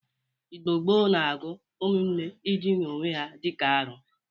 Igbo gboo na-agụ ụmụnne ịdịna owe ha dị ka arọ.